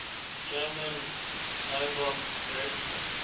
german nobel laureates